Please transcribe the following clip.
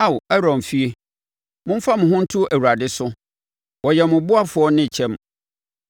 Ao Aaron fie, momfa mo ho nto Awurade so, ɔyɛ mo ɔboafoɔ ne kyɛm.